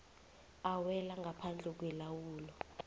awela ngaphandle kwelawulo